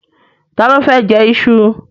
Ta ló fẹ́ jẹ iṣu?